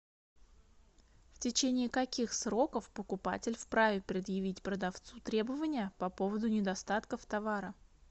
в течение каких сроков покупатель вправе предъявить продавцу требования по поводу недостатков товара